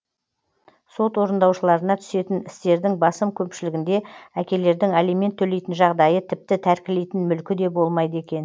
сот орындаушыларына түсетін істердің басым көпшілігінде әкелердің алимент төлейтін жағдайы тіпті тәркілейтін мүлкі де болмайды екен